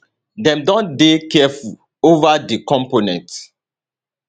dem don dey careful ova di components